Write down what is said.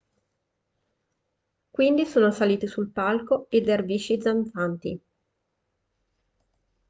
quindi sono saliti sul palco i dervisci danzanti